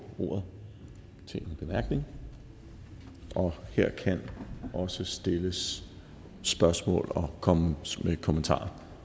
ordet til en bemærkning og her kan også stilles spørgsmål og kommes med kommentarer